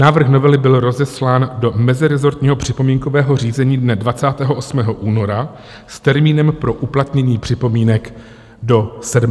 Návrh novely byl rozeslán do mezirezortního připomínkového řízení dne 28. února s termínem pro uplatnění připomínek do 7. března.